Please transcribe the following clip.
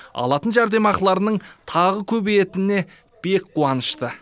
алатын жәрдемақыларының тағы көбейетініне бек қуанышты